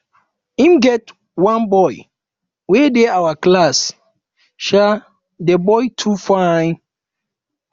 e um get one boy wey dey our class um um the boy too fine